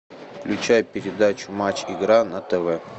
включай передачу матч игра на тв